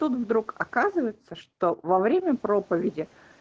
туту вдруг оказывается что во время проповеди